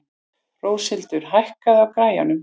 Róshildur, hækkaðu í græjunum.